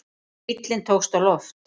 Bíllinn tókst á loft